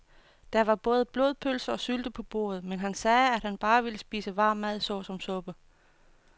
Der var både blodpølse og sylte på bordet, men han sagde, at han bare ville spise varm mad såsom suppe.